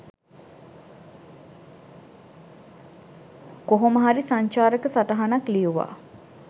කොහොමහරි සංචාරක සටහනක් ලියුවා